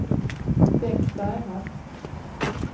Bengt Bergman